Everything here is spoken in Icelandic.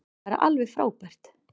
Bara alveg frábært.